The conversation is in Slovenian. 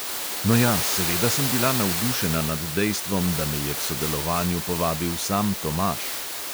No ja, seveda sem bila navdušena nad dejstvom, da me je k sodelovanju povabil sam tomaž.